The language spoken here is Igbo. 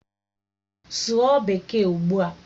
Sụọ Bekee ugbua!